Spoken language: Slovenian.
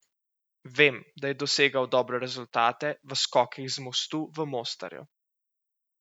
Vem, da je dosegal dobre rezultate v skokih z mostu v Mostarju.